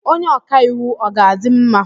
Onye ọka iwu ọ ga-adị mma?